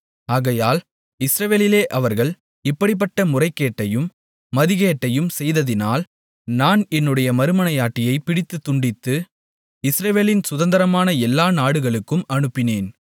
ஆகையால் இஸ்ரவேலிலே அவர்கள் இப்படிப்பட்ட முறைகேட்டையும் மதிகேட்டையும் செய்ததினால் நான் என்னுடைய மறுமனையாட்டியைப் பிடித்துத் துண்டித்து இஸ்ரவேலின் சுதந்தரமான எல்லா நாடுகளுக்கும் அனுப்பினேன்